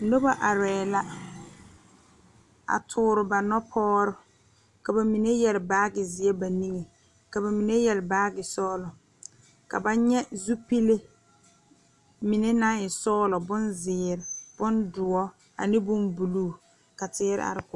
Nobɔ arɛɛ la a toore ba nɔpoɔgre ka ba mine yɛre baagi zeɛ ba niŋe ka ba mine yɛre baagi sɔglɔ ka ba nyɛ zupile mine naŋ e sɔglɔ bonzeere bondoɔ ane bonbluu ka teere are.